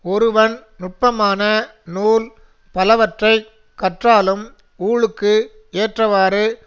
ஒருவன் நுட்பமான நூல் பலவற்றை கற்றாலும் ஊழுக்கு ஏற்றவாறு